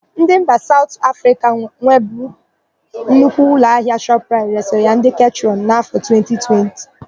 Ndị mba Saụt Afrịka nwebu nnukwu ụlọahịa Shọpraịt resịrị ya ndị Ketrọn n'áfọ̀ 2020.